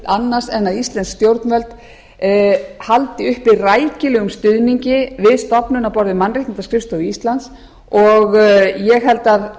annars en að íslensk stjórnvöld haldi uppi rækilegum stuðningi við stofnun á borð við mannréttindaskrifstofu íslands og ég held að